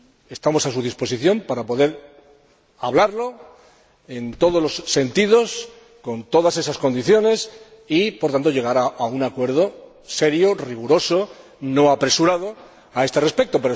estemos a su disposición para poder debatirlo, en todos los sentidos, con todas esas condiciones y, por tanto, llegar a un acuerdo serio, riguroso y no apresurado a este respecto.